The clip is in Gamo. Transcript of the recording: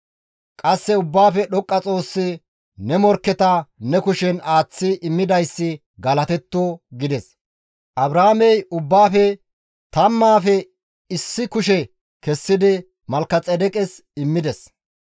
Qasse Ubbaafe Dhoqqa Xoossi, Ne morkketa ne kushen aaththi immidayssi galatetto» gides. Abraamey ubbaafe tammaafe issi kushe kessidi Malkexeedeqes immides.